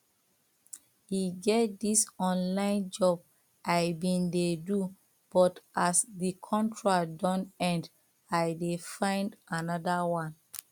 e get dis online job i bin dey do but as the contract don end i dey find another one